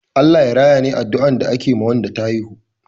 "Allah Ya raya" ne addua da ake ma Wanda ta haihu